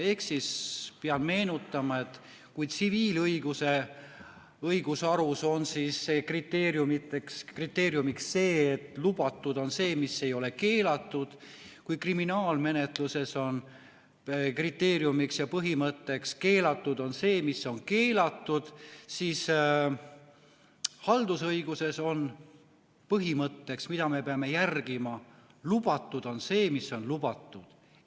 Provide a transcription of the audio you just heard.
Ehk peab meenutama, et kui tsiviilõiguses on kriteeriumiks, et lubatud on see, mis ei ole keelatud, ja kriminaalmenetluses on kriteeriumiks ja põhimõtteks, et keelatud on see, mis on keelatud, siis haldusõiguses on põhimõtteks, mida me peame järgima: lubatud on see, mis on lubatud.